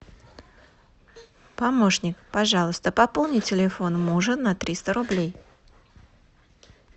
помощник пожалуйста пополни телефон мужа на триста рублей